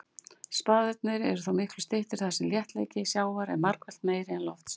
Spaðarnir eru þó miklu styttri þar sem þéttleiki sjávar er margfalt meiri en lofts.